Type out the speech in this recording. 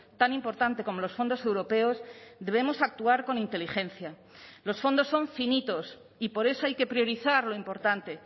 tan importante como los fondos europeos debemos actuar con inteligencia los fondos son finitos y por eso hay que priorizar lo importante